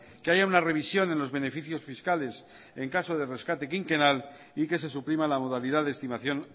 que haya una revisión en los beneficios fiscales en caso de rescate quinquenal y que se suprima la modalidad de estimación